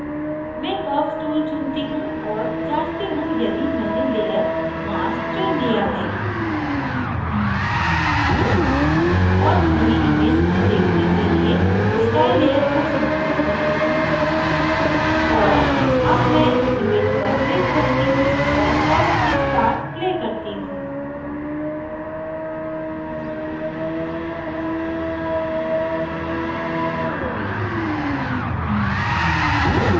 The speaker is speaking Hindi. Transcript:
मैं curves tool चुनती हूँ और जाँचती हूँ यदि मैंने layer mask चुन layer है और पूरी image को देखने के लिए sky layer को सम्मिलित करती हूँ और अब मैं image पर click करती हूँ और curves के साथ play करती हूँ